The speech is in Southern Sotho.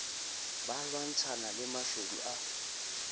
ba lwantshana le mashodu a